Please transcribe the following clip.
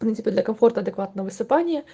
ну типо для комфорт адекватного высыпания